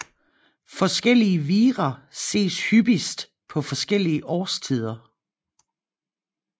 Forskellige vira ses hyppigst på forskellige årstider